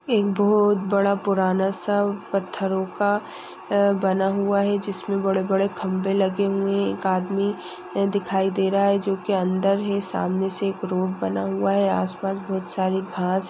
एक बहुत बड़ा पुराना सा पत्थरोंका अह बना हुआ है जिसमे बड़े-बड़े खंबे लगे हुए है एक आदमी दिखाई दे रहा है जो की अंदर है सामने से एक रोड बना हुआ है आस पास बहुत सारी घास--